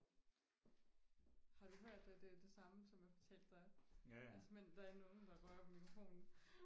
har du hørt at øh det samme som jeg fortalte dig altså men der er ikke nogen der rører ved mikrofonen